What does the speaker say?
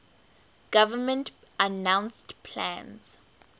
government announced plans